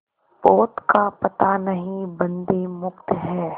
पोत का पता नहीं बंदी मुक्त हैं